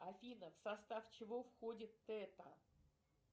афина в состав чего входит тета